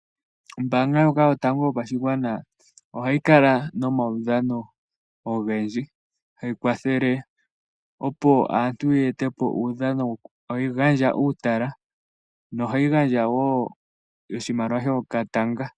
Ombanga ndjoka yatango yo pashigwana ohai kala nomaudhano ogendji .Hayi kwathele opo aantu yetepo uudhano, hayi gandja uutala nohayi gandja wo oshimaliwa shoka tanga .